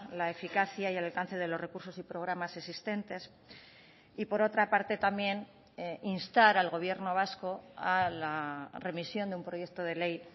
la eficacia y el alcance de los recursos y programas existentes y por otra parte también instar al gobierno vasco a la remisión de un proyecto de ley